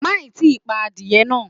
Má ì tí pa adìẹ náà.